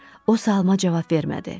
O salama cavab vermədi.